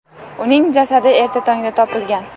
Uning jasadi erta tongda topilgan.